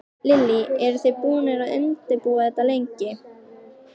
Lillý: Eru þið búnir að undirbúa þetta lengi?